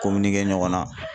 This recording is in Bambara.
ɲɔgɔn na.